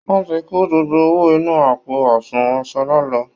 Wọ́n ti kó gbogbo owó inú àpò àsunwọ̀n Ṣọlá lọ